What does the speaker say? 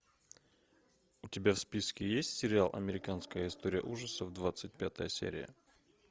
у тебя в списке есть сериал американская история ужасов двадцать пятая серия